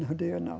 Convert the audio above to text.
Não tenho, não.